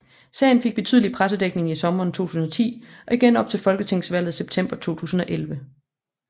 Sagen fik betydelig pressedækning i sommeren 2010 og igen op til folketingsvalget september 2011